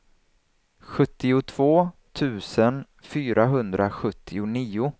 sjuttiotvå tusen fyrahundrasjuttionio